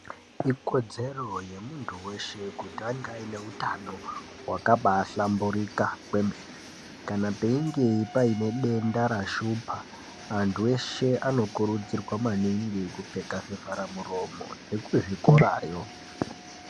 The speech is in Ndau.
Ikodzero yemuntu weshe kutanga une hutano hwakahlamburika kwemene kana peinge Paine denda rakashupa antu eshe anokurudzirwa maningi kupfeka zvivhara muromo vekuzvikorawo.